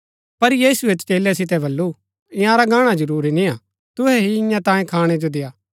पर यीशुऐ चेलै सितै बल्लू ईआंरा गाणा जरूरी निय्आ तुहै ही ईयां तांयें खाणै जो देय्आ